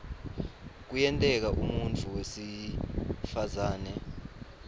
kuyenteka umuntfu wesifazane